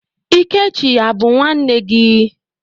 Ikechi a bụ nwanne gị?